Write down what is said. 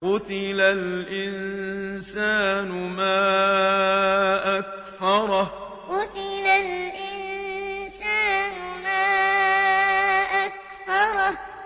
قُتِلَ الْإِنسَانُ مَا أَكْفَرَهُ قُتِلَ الْإِنسَانُ مَا أَكْفَرَهُ